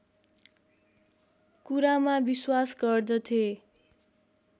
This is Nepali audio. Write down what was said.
कुरामा विश्वास गर्दथे